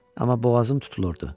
Amma boğazım tutulurdu.